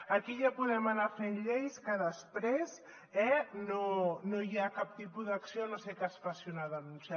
aquí ja podem anar fent lleis que després no hi ha cap tipus d’acció a no ser que es faci una denúncia